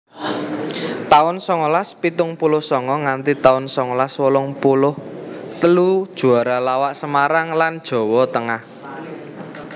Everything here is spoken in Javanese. taun songolas pitung puluh songo nganti taun songolas wolung puluh telu Juara lawak Semarang lan Jawa Tengah